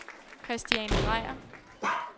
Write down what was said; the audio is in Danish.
Kristiane Dreier